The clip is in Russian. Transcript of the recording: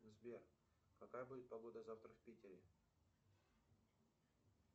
сбер какая будет погода завтра в питере